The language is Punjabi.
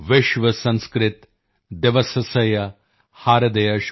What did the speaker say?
ਸੰਸਕ੍ਰਿਤਦਿਵਸਸਯ ਹਾਰਦਯ ਸ਼ੁਭਕਾਮਨਾ